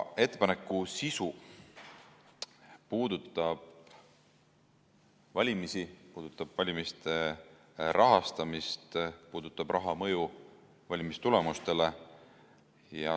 Ettepaneku sisu puudutab valimisi, puudutab valimiste rahastamist, puudutab raha mõju valimistulemustele.